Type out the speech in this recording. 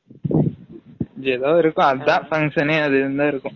இது எதாது இருக்கும் அதான் function ஏ அது இருந்தா இருக்கும்